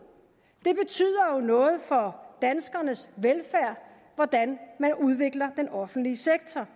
for danskernes velfærd hvordan man udvikler den offentlige sektor